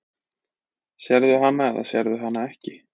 Sérðu hana eða sérðu hana ekki?